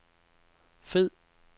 fed